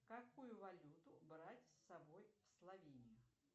какую валюту брать с собой в словению